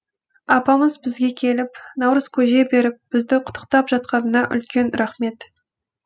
апамыз бізге келіп наурыз көже беріп бізді құттықтап жатқанына үлкен рахмет